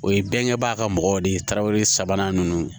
O ye bɛnkɛbaga ka mɔgɔw de ye tarawele sabanan ninnu